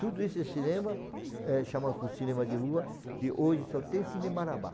Todo esse cinema, eh, chama cinema de Rua, que hoje só tem Cine Marabá.